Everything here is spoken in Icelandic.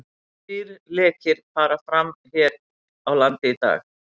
Þrír lekir fara fram hér á landi í dag.